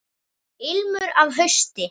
Ilmur af hausti!